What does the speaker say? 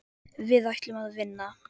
Við ætlum að vinna.